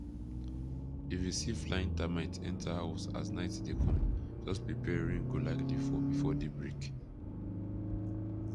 if you see flying termite enter house as night dey come just prepare rain go likely fall before day break